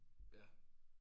Ja